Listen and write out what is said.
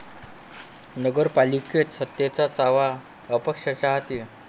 नगर पालिकेत सत्तेच्या चाव्या अपक्षांच्या हाती